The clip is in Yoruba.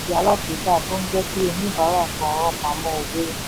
oníbàárà san rán pamọ́ owó.